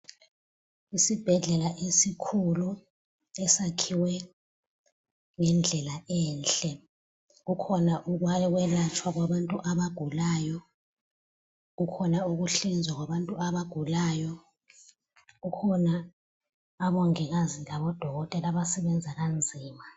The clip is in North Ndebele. Isibhedlela esikhulu esakhiwe ngendlala enhle, kukhona ukwelatshwa kwabantu abagulayo kukhona ukuhlinzwa kwabantu abagulayo kukhona omongikazi lobo dokotela abasebenza kanzima.